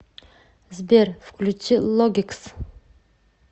сбер включи логикс